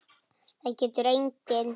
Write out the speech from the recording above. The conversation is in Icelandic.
Það getur enginn.